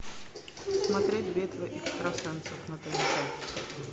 смотреть битва экстрасенсов на тнт